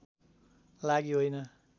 लागि होइन